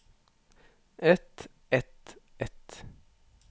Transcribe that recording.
et et et